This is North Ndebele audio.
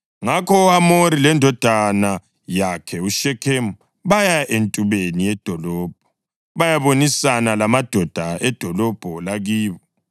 Ngakho uHamori lendodana yakhe uShekhemu baya entubeni yedolobho bayabonisana lamadoda edolobho lakibo.